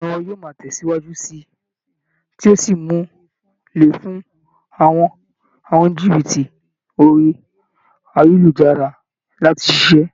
Ìmọ̀ ẹ̀rọ yóò máa tẹ̀síwájú síi, tí yí ó sì mú un le fún àwọn oníjìbìtì orí ayélujára láti ṣiṣẹ́.